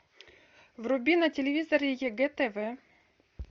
вруби на телевизоре егэ тв